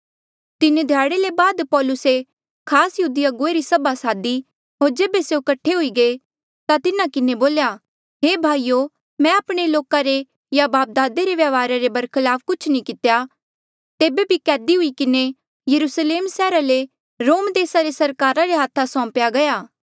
तीन ध्याड़े ले बाद पौलुसे खास यहूदी अगुवे री सभा सादी होर जेबे स्यों कठे हुई गये ता तिन्हा किन्हें बोल्या हे भाईयो मैं आपणे लोका रे या बापदादे रे व्यवहारा रे बरखलाफ कुछ नी कितेया तेबे बी कैदी हुई किन्हें यरुस्लेम सैहरा ले रोम देसा रे सरकारा रे हाथा सौम्पेया गया